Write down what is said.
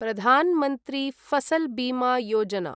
Pradhan Mantri Fasal Bima Yojana